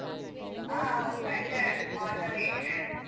ಆ ಹೋಗ್ತಾ ಇದ್ದೇನೆ on the way .